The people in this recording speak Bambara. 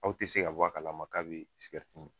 Aw ti se ka bɔ a kala ma k'a be min